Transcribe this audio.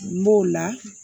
N b'o la